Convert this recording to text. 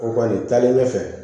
O kɔni taalen ɲɛfɛ